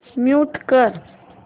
mute कर